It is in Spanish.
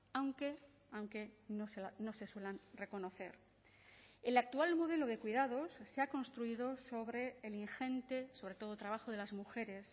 aunque aunque no se suelan reconocer el actual modelo de cuidados se ha construido sobre el ingente sobre todo trabajo de las mujeres